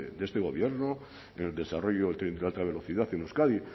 de este gobierno en el desarrollo del tren de alta velocidad en euskadi